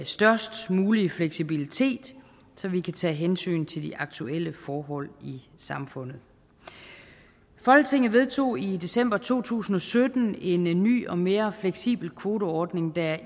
størst mulige fleksibilitet så vi kan tage hensyn til de aktuelle forhold i samfundet folketinget vedtog i december to tusind og sytten en ny og mere fleksibel kvoteordning der